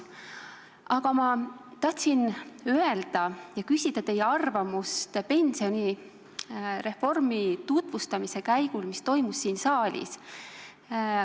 Aga ma tahtsin küsida teie arvamust pensionireformi tutvustamise käigu kohta siin saalis.